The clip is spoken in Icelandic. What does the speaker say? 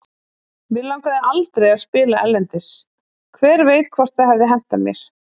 Mig langaði aldrei að spila erlendis, hver veit hvort það hefði hentað mér?